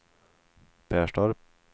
Perstorp